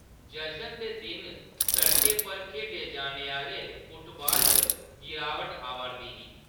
जशन दे दिन सड़कें पर खेढे जाने आह्‌‌‌ले फुटबाल च गिरावट आ'वारदी ही।